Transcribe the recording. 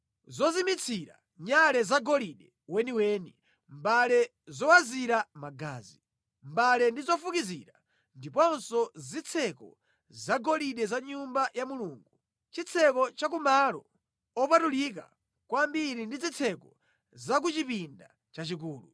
zozimitsira nyale zagolide weniweni, mbale zowazira magazi, mbale ndi zofukizira; ndiponso zitseko zagolide za Nyumba ya Mulungu, chitseko cha ku Malo Opatulika Kwambiri ndi zitseko za ku chipinda chachikulu.